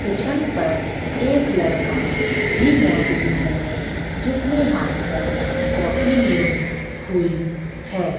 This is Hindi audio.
किचन पर एक लड़का भी मौजूद है जिसने हाथ पर काफी ली हुई है।